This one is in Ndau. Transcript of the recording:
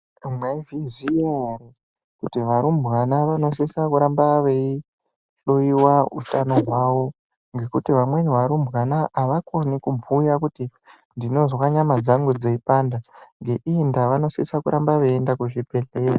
Mwaizviziya ere kuti varumbwana vanosisa kuramba veihloiwa utano hwavo ngekuti vamweni varumbwana avakoni kubhuya kuti ndinozwa nyama dzangu dzeipanda ngeiiyi ndaa vanosisa kuramba veiienda kuzvibhehlera.